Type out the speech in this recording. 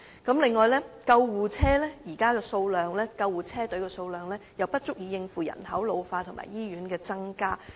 此外，現時救護車隊的數量不足以應付人口老化和醫院增加的需求。